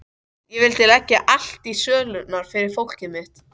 Ég vildi leggja allt í sölurnar fyrir fólkið mitt.